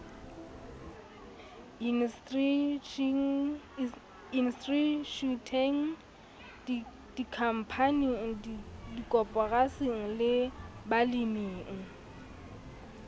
institjhuteng dikhampaning dikoporasing le baleming